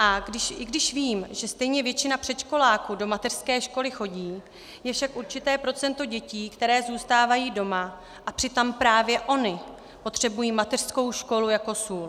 A i když vím, že stejně většina předškoláků do mateřské školy chodí, je však určité procento dětí, které zůstávají doma, a přitom právě ony potřebují mateřskou školu jako sůl.